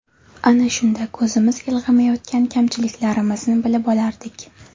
Ana shunda ko‘zimiz ilg‘amayotgan kamchiliklarimizni bilib olardik.